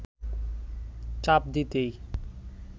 চাপ দিতেই